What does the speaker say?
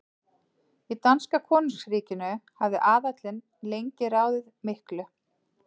Í danska konungsríkinu hafði aðallinn lengi ráðið miklu.